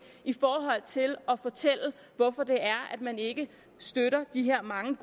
i forhold til at fortælle hvorfor man ikke støtter de her mange